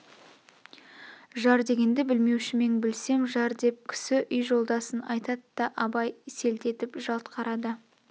жар дегенді білмеушімең білсем жар деп кісі үй жолдасын айтат та абай селт етіп жалт қарады